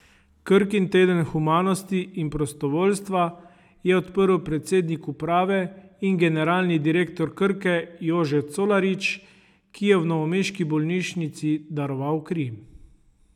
Krkin teden humanosti in prostovoljstva je odprl predsednik uprave in generalni direktor Krke Jože Colarič, ki je v novomeški bolnišnici daroval kri.